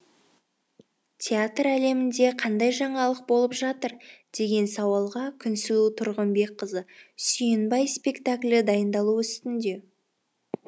театр әлемінде қандай жаңалық болып жатыр деген сауалға күнсұлу тұрғынбекқызы сүйінбай спектаклі дайындалу үстінде